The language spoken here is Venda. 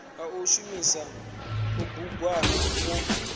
nga u shumisa kubugwana kwo